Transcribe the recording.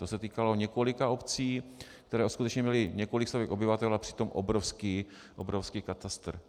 To se týkalo několika obcí, které skutečně měly několik stovek obyvatel a přitom obrovský katastr.